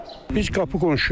Biz qapı qonşuyuq.